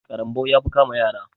ƙarambau ya fi kama yara.